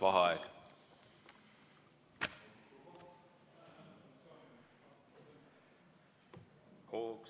Vaheaeg.